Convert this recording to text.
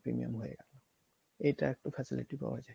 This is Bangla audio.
premium হয়ে গেলো এটা একটু facility পাওয়া যায়।